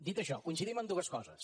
dit això coincidim en dues coses